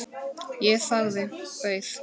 Ég þagði, beið.